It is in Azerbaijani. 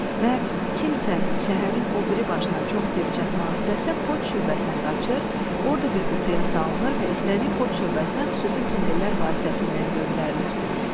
Və kimsə şəhərin o biri başına çox tez çatmaq istəsə, poçt şöbəsinə qaçır, orda bir qutuya salınır və istədiyi poçt şöbəsinə xüsusi tunellər vasitəsilə göndərilir.